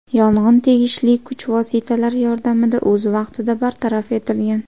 Yong‘in tegishli kuch vositalar yordamida o‘z vaqtida bartaraf etilgan.